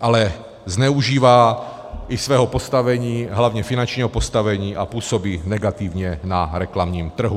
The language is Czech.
ale zneužívá i svého postavení, hlavně finančního postavení, a působí negativně na reklamním trhu.